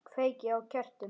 Kveiki á kertum.